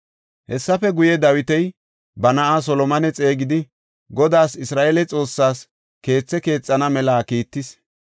Hessafe guye, Dawiti ba na7aa Solomone xeegidi, Godaas Isra7eele Xoossaas keethe keexana mela kiittis.